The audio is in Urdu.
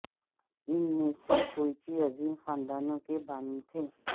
ان میں سے کوئچی عظیم خاندانوں کے بانی تھے